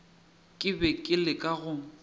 ke be ke leka go